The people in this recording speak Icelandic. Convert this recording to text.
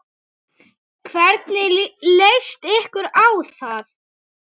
Hvernig leyst ykkur á það?